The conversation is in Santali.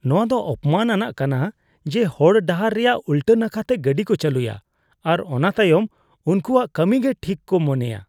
ᱱᱚᱶᱟ ᱫᱚ ᱚᱯᱚᱢᱟᱱ ᱟᱱᱟᱜ ᱠᱟᱱᱟ ᱡᱮ ᱦᱚᱲ ᱰᱟᱦᱟᱨ ᱨᱮᱭᱟᱜ ᱩᱞᱴᱟ ᱱᱟᱠᱷᱟᱛᱮ ᱜᱟᱹᱰᱤ ᱠᱚ ᱪᱟᱹᱞᱩᱭᱟ ᱟᱨ ᱚᱱᱟ ᱛᱟᱭᱚᱢ ᱩᱱᱠᱩᱣᱟᱜ ᱠᱟᱹᱢᱤ ᱜᱮ ᱴᱷᱤᱠ ᱠᱚ ᱢᱚᱱᱮᱭᱟ ᱾